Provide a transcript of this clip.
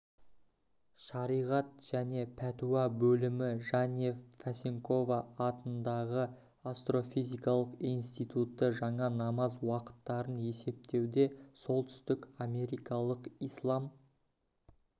шариғат және пәтуа бөлімі жәнев фесенкова атындағы астрофизикалық институты жаңа намаз уақыттарын есептеуде солтүстік америкалық ислам